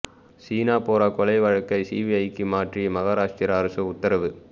ஷீனா போரா கொலை வழக்கை சிபிஐக்கு மாற்றி மகாராஷ்டிர அரசு உத்தரவு